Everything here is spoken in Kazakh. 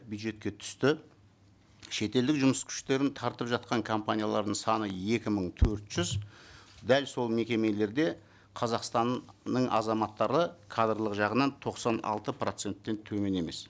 бюджетке түсті шетелдік жұмыс күштерін тартып жатқан компаниялардың саны екі мың төрт жүз дәл сол мекемелерде қазақстанның азаматтары кадрлық жағынан тоқсан алты проценттен төмен емес